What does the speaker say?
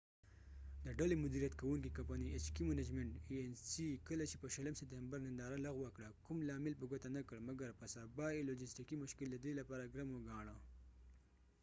د ډلې مديریت کوونکې کمپنی ایچ کې منجمنت ای این سی کله چې په 20 سپتمبر ننداره لغوه کړه کو م لامل په ګوته نه کړ مګر په سبا یې لوژستیکې مشکل ددې لپاره ګرم و ګاڼه